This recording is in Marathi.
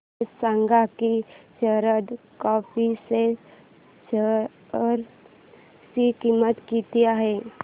हे सांगा की शारदा क्रॉप च्या शेअर ची किंमत किती आहे